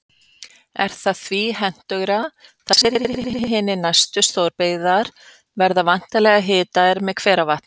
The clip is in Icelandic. Er það því hentugra, þar sem flestar hinar næstu stórbyggingar verða væntanlega hitaðar með hveravatni.